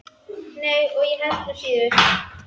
Nei, og ég held nú síður.